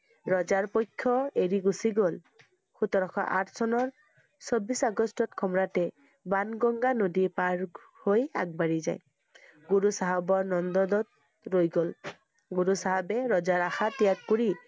ৰজাৰ পক্ষ এৰি গুচি গল। সোতৰশ আঠ চনৰ, চৌব্বিশ আগষ্টত সম্ৰাটে বাংগাংগা নদী পাৰ~ঘ হৈ আগবাঢ়ি যায়। গুৰু চাহাবৰ নন্দ্দত ৰৈ গল । গুৰু চাহাবে ৰজাৰ আশা ত্যাগ কৰি